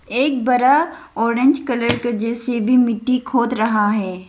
एक बड़ा orange colour का जे_सी_बी मिट्टी खोद रहा है।